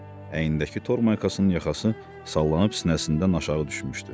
Əynindəki tormaykasının yaxası sallanıb sinəsindən aşağı düşmüşdü.